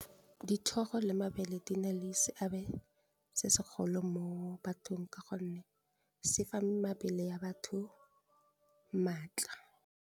Dithoro le mabele di na le seabe se segolo mo bathong ka gonne se fa mabele ya batho maatla.